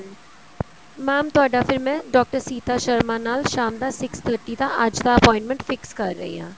mam ਤੁਹਾਡਾ ਫ਼ਿਰ ਮੈਂ ਡਾਕਟਰ ਸੀਤਾ ਸ਼ਰਮਾ ਨਾਲ ਸ਼ਾਮ ਦਾ six thirty ਦਾ ਅੱਜ ਦਾ appointment fix ਕਰ ਰਹੀ ਹਾਂ